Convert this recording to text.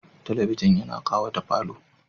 Talabijin tana ƙawata falo.